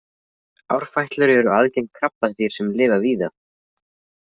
Árfætlur eru algeng krabbadýr sem lifa víða.